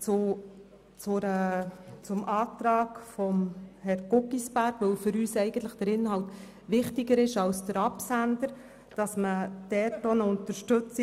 die Planungserklärung von Herrn Guggisberg – der Inhalt ist uns wichtiger als der Absender – unterstützt.